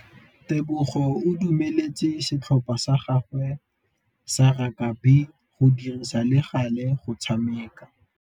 Tebogô o dumeletse setlhopha sa gagwe sa rakabi go dirisa le galê go tshameka.